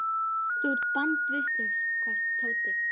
Þú ert bandvitlaus hvæsti Tóti.